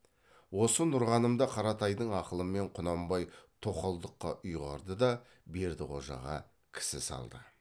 осы нұрғанымды қаратайдың ақылымен құнанбай тоқалдыққа ұйғарды да бердіқожаға кісі салды